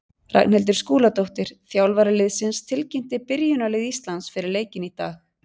Ragnhildur Skúladóttir, þjálfari liðsins, tilkynnti byrjunarlið Íslands fyrir leikinn í dag.